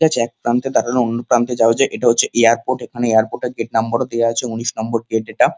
একপ্রান্তে থেকে অন্যপ্রান্তে যারা যায় এটা হচ্ছে এয়ারপোর্ট এখানে এয়ারপোর্ট এর গেট নাম্বার ও দেওয়া আছে উনিশ নাম্বার গেট এটা।